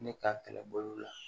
Ne ka kɛlɛbolo la